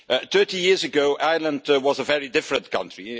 Thirty years ago, Ireland was a very different country.